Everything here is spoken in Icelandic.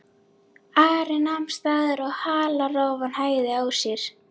Ari nam staðar og halarófan hægði á sér.